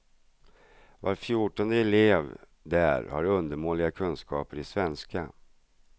Var fjortonde elev där har undermåliga kunskaper i svenska.